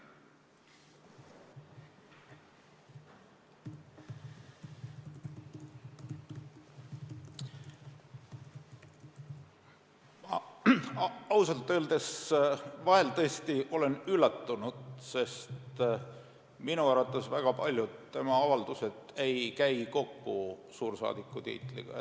Ausalt öeldes olen vahel tõesti üllatunud, sest minu arvates ei käi väga paljud tema avaldused kokku suursaadiku tiitliga.